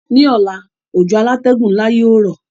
Ní ọ̀la, òjò alátẹ́gùn nla yio rọ̀